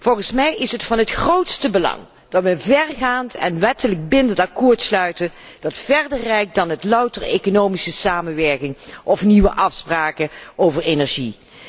Volgens mij is het van het grootste belang dat we een vergaand en wettelijk bindend akkoord sluiten, dat verder reikt dan louter economische samenwerking of nieuwe afspraken over energie.